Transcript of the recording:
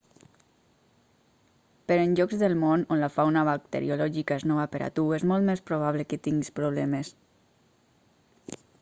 però en llocs del món on la fauna bacteriològica és nova per a tu és molt més probable que tinguis problemes